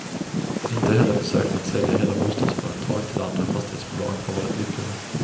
Inte heller försöken att sälja hela bostadsföretag till andra fastighetsbolag har varit lyckade.